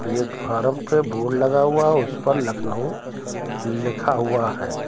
Platform पे board लगा हुआ है उस पर लखनऊ लिखा हुआ है।